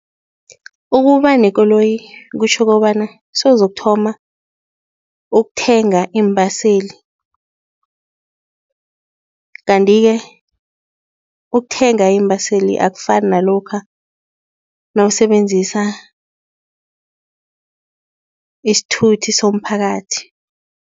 Ukuba nekoloyi kutjho kobana sewuzokuthoma ukuthenga iimbaseli. Kanti-ke ukuthenga iimbaseli akufani nalokha nawusebenzisa isithuthi somphakathi.